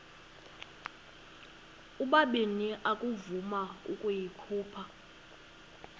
ubabini akavuma ukuyikhupha